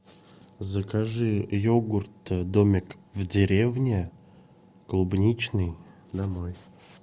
закажи йогурт домик в деревне клубничный домой